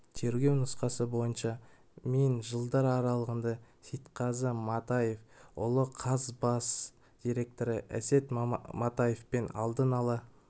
тергеу нұсқасы бойынша мен жылдар аралығында сейітқазы матаев ұлы қаз бас директоры әсет матаевпен алдын ала